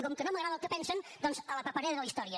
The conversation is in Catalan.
i com que no m’agrada el que pensen doncs a la paperera de la història